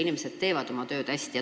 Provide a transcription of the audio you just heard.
Inimesed teevad oma tööd hästi.